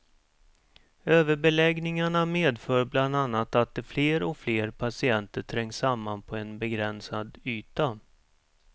Överbeläggningarna medför bl a att fler och fler patienter trängs samman på en begränsad yta.